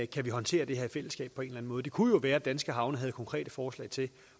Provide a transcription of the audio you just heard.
kan håndtere det her i fællesskab på en måde det kunne jo være at danske havne havde konkrete forslag til